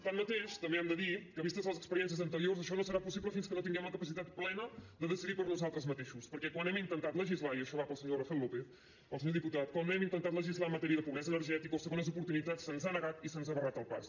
tanmateix també hem de dir que vistes les experiències anteriors això no serà possible fins que no tinguem la capacitat plena de decidir per nosaltres mateixos perquè quan hem intentat legislar i això va per al senyor rafael lópez el senyor diputat quan hem intentat legislar en matèria de pobresa energètica o segones oportunitats se’ns ha negat i se’ns ha barrat el pas